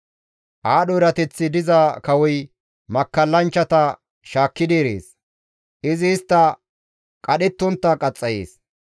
Aadho erateththi diza kawoy makkallanchchata shaakki erees; izi istta qadhettontta qaxxayees.